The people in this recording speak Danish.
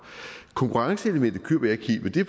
konkurrenceelementet køber jeg ikke helt men det